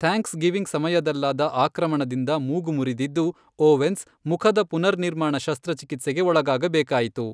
Thanksgiving ಸಮಯದಲ್ಲಾದ ಆಕ್ರಮಣದಿಂದ ಮೂಗು ಮುರಿದಿದ್ದು, ಓವೆನ್ಸ್ ಮುಖದ ಪುನರ್ನಿರ್ಮಾಣ ಶಸ್ತ್ರಚಿಕಿತ್ಸೆಗೆ ಒಳಗಾಗಬೇಕಾಯಿತು .